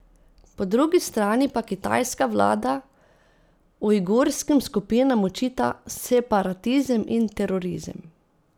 Po drugi strani pa kitajska vlada ujgurskim skupinam očita separatizem in terorizem.